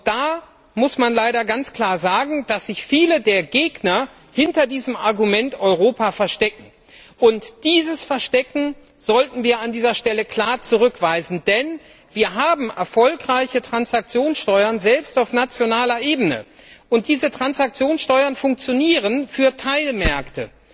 Da muss man leider ganz klar sagen, dass sich viele der Gegner hinter dem Argument Europa verstecken. Dieses Verstecken sollten wir an dieser Stelle klar zurückweisen, denn wir haben erfolgreiche Transaktionssteuern selbst auf nationaler Ebene und diese Transaktionssteuern funktionieren für Teilmärkte.